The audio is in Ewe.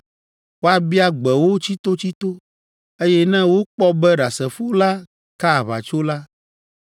Woabia gbe wo tsitotsito, eye ne wokpɔ be ɖasefo la ka aʋatso la,